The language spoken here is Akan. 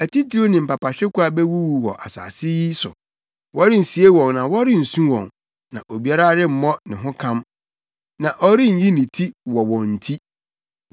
Atitiriw ne mpapahwekwa bewuwu wɔ asase yi so. Wɔrensie wɔn na wɔrensu wɔn na obiara remmɔ ne ho kam, na ɔrenyi ne ti wɔ wɔn nti.